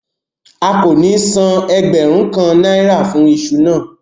A kò ní san ẹgbẹ̀rún kan náírà fún iṣu náà